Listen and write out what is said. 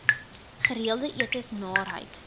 gereelde etes naarheid